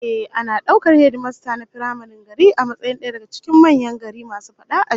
Ehh, ana daukar hedimasta na firamaren gari a matsayin daya daga cikin manyan gari masu fadi a ji